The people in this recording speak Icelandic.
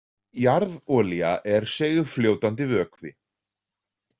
Jarðolía er seigfljótandi vökvi.